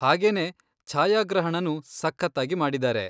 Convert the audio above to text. ಹಾಗೇನೇ, ಛಾಯಾಗ್ರಹಣನೂ ಸಖತ್ತಾಗಿ ಮಾಡಿದಾರೆ.